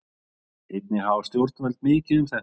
Einnig hafa stjórnvöld mikið um þetta að segja.